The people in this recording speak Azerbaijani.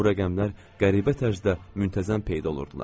Bu rəqəmlər qəribə tərzdə müntəzəm peyda olurdular.